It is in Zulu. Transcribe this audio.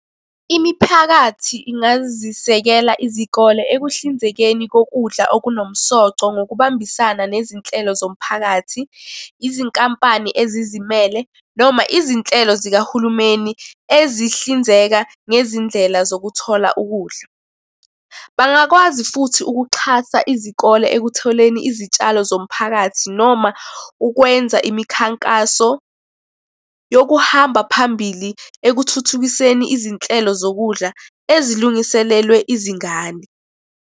Imiphakathi ingazisekela izikole ekuhlinzekeni kokudla okunomsoco ngokubambisana nezinhlelo zomphakathi, izinkampani ezizimele, noma izinhlelo zikahulumeni ezihlinzeka ngezindlela zokuthola ukudla. Bangakwazi futhi ukuxhasa izikole ekutholeni izitshalo zomphakathi noma ukwenza imikhankaso yokuhamba phambili ekuthuthukiseni izinhlelo zokudla ezilungiselelwe izingane.